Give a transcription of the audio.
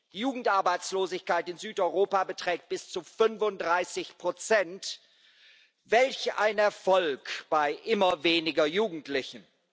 Die Jugendarbeitslosigkeit in Südeuropa beträgt bis zu 35 welch ein Erfolg bei immer weniger Jugendlichen!